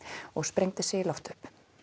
og sprengdi sig í loft upp